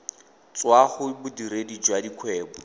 tswa go bodiredi jwa dikgwebo